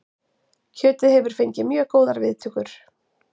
Kjötið hefur fengið mjög góðar viðtökur